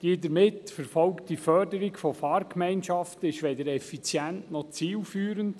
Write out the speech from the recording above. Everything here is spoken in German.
Die damit bezweckte Förderung von Fahrgemeinschaften ist weder effizient noch zielführend.